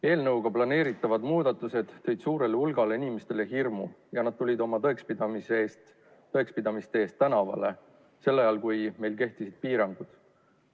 Eelnõuga planeeritavad muudatused tõid suurele hulgale inimestele hirmu ja nad tulid oma tõekspidamiste eest tänavale ajal, kui meil kehtivad piirangud.